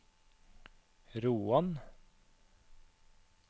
Roan